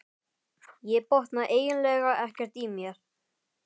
Ég botna eiginlega ekkert í mér.